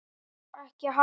Spor mín létt.